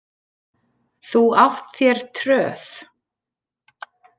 Þú átt þér tröð.